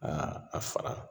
Aa a fara